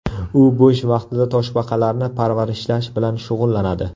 U bo‘sh vaqtida toshbaqalarni parvarishlash bilan shug‘ullanadi.